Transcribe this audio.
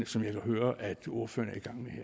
som jeg kan høre ordføreren